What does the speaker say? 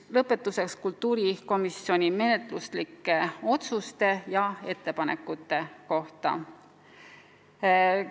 Lõpetuseks kultuurikomisjoni menetluslikest otsustest ja ettepanekutest.